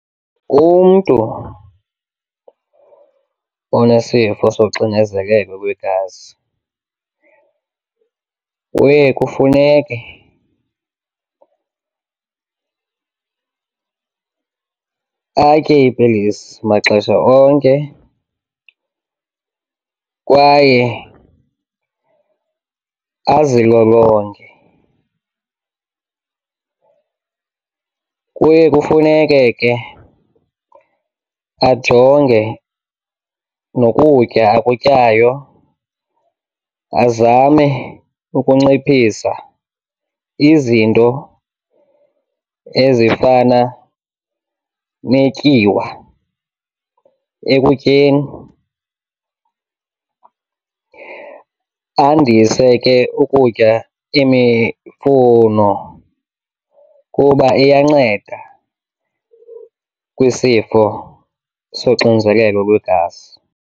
Umntu onesifo soxinezelelo lwegazi uye kufuneke atye iipilisi maxesha onke kwaye azilolonge. Kuye kufuneke ke ajonge nokutya akutyayo, azame ukunciphisa izinto ezifana netyiwa ekutyeni, andise ke ukutya imifuno kuba iyanceda kwisifo soxinzelelo lwegazi.